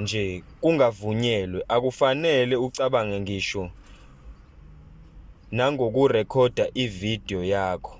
nje kungavunyelwe akufanele ucabange ngisho nangokurekhoda ividiyo yakho